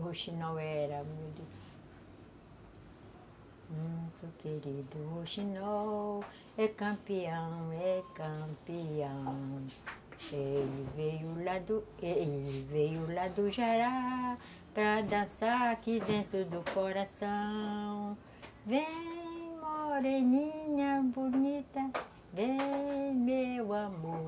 O rouxinol era muito... Muito querido rouxinol, é campeão, é campeão. Ele veio lá do, ele veio lá do Jará para dançar aqui dentro do coração... Vem, moreninha bonita, vem, meu amor